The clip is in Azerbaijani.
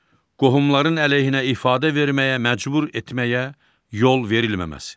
Qohumların əleyhinə ifadə verməyə məcbur etməyə yol verilməməsi.